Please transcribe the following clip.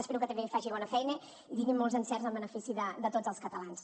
espero que també faci bona feina i tingui molts encerts en benefici de tots els catalans